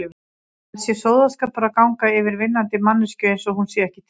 Það sé sóðaskapur að ganga yfir vinnandi manneskju einsog hún sé ekki til.